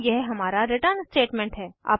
और यह हमारा रिटर्न स्टेटमेंट है